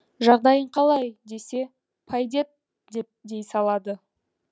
жағдайың қалай десе пайдет деп дей салады